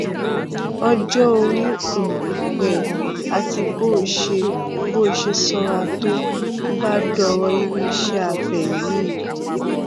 ọjọ orí um rẹ àti bó o ṣe bó o ṣe sanra tó bá dọrọ irú iṣẹ abẹ yìí